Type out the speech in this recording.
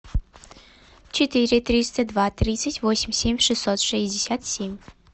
четыре триста два тридцать восемь семь шестьсот шестьдесят семь